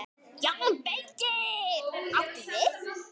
JÓN BEYKIR: Áttu við.